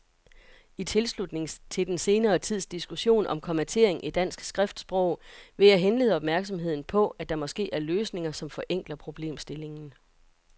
I tilslutning til den senere tids diskussion om kommatering i dansk skriftsprog vil jeg henlede opmærksomheden på, at der måske er løsninger, som forenkler problemstillingen.